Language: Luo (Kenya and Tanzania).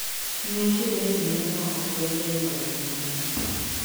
Ne shemeji ne no oken jayuarruok mang'eny